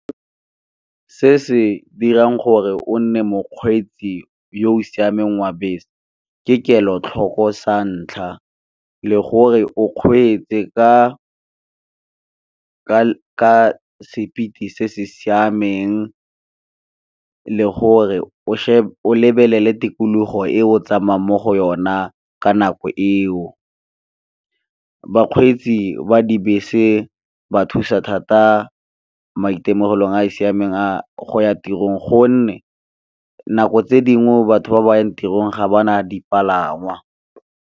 Se se dirang gore o nne mokgweetsi yo o siameng wa bese ke kelotlhoko sa ntlha, le gore o kgweetse ka speed se se siameng le gore o lebelele tikologo e o tsamayang mo go yona ka nako eo. Bakgweetsi ba dibese ba thusa thata maitemogelong a a siameng a go ya tirong gonne, nako tse dingwe batho ba ba yang tirong ga ba na dipalangwa.